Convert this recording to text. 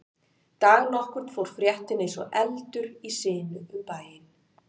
Dag nokkurn fór fréttin eins og eldur í sinu um bæinn.